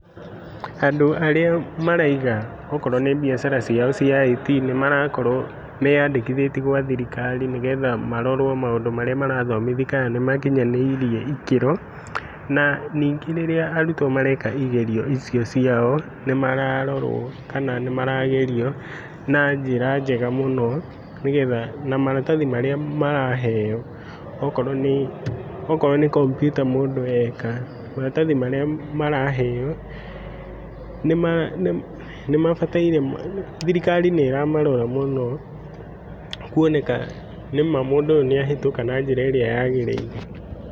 Andũ arĩa maraiga okorwo nĩ biacara ciao cia IT nĩmarakorwo meyandĩkithĩtie gwa thirikari nĩgetha marorwo maũndũ marĩa marathomithia kana nĩmakinyanĩirie ĩkĩro. Na nyingĩ rĩrĩa arutwo mareka igerio icio ciao nĩmararorwo kana nĩ maragerio na njĩra njega mũni nĩgetha na maratathi marĩa maraheo okorwo nĩ , okorwo nĩ kompyuta mũndũ eka. Nĩma nĩmabataire, thirikari nĩramarora mũno kwoneka nĩma mũndũ ũyũ nĩahĩtũka na njĩra ĩrĩa yagĩrĩire.